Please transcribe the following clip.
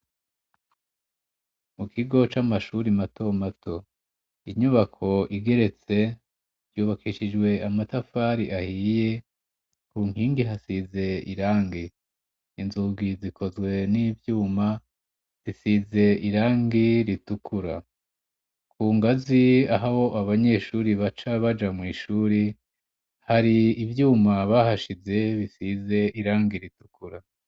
Mu kigo c'amashuri matomato. Inyubako igeretse, yubakishijwe amatafari ahiye, ku nkingi hasize irangi. Inzugi zikozwe n'ivyuma, bisize irangi ritukura. Ku ngazi aho abanyeshuri baca baja mw'ishuri, hari ivyuma bahashize bisize irangi ritukura.